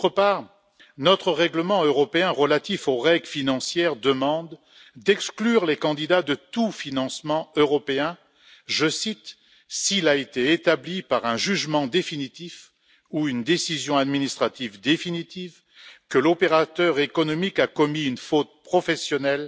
D'autre part, le règlement financier de l'Union demande d'exclure les candidats de tout financement européen je cite s'il a été établi par un jugement définitif ou une décision administrative définitive que l'opérateur économique a commis une faute professionnelle